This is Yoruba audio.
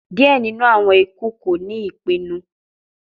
Diẹ ninu awọn iku ko ni ipinnu